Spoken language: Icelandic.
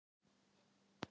Sjómenn fylgjast með gosinu